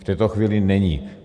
V této chvíli není.